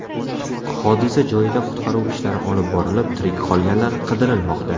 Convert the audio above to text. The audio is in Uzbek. Hodisa joyida qutqaruv ishlari olib borilib, tirik qolganlar qidirilmoqda.